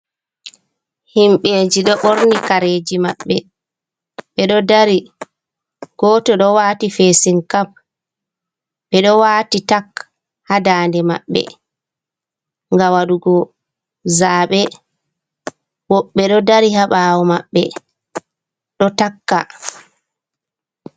Himɓɓe ji ɗo ɓorni kareji maɓɓe, ɓe ɗo dari goto ɗo wati fesin kap, ɓe ɗo wati tak ha dande maɓɓe, ga waɗugo zabe, woɓɓe ɗo dari ha ɓawo maɓbe ɗo takka.